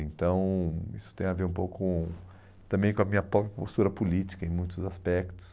Então, isso tem a ver um pouco também com a minha própria postura política em muitos aspectos.